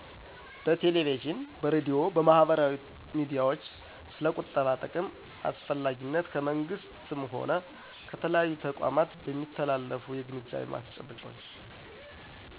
በቴሌቪዥን፤ በሬድዮ፤ በማህበራዊ ሚዲያዎች ስለ ቁጠባ ጥቅም አስፈላጊነት ከመንግሥት ሆነ ከተለያዩ ተቋማት በሚተላለፉ የግንዛቤ ማስጨበጫዎች።